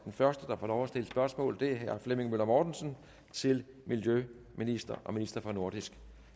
første der får lov at stille spørgsmål er herre flemming møller mortensen til miljøministeren og ministeren for nordisk